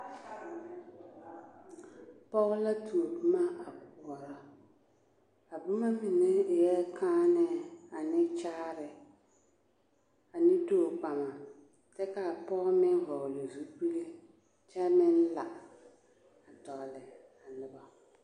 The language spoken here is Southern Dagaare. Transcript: Pɔge la tuo boma a koɔrɔ, a boma mine eɛ kããnɛɛ ane kyaare ane tookpama kyɛ k'a pɔge meŋ hɔɔle zupili kyɛ meŋ la a tɔgele a noba.